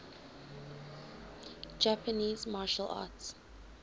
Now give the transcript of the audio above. japanese martial arts